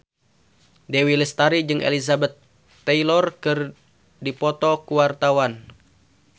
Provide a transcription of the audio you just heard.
Dewi Lestari jeung Elizabeth Taylor keur dipoto ku wartawan